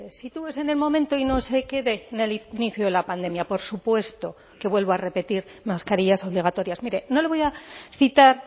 sitúese en el momento y no se quede en el inicio de la pandemia por supuesto que vuelvo a repetir mascarillas obligatorias mire no le voy a citar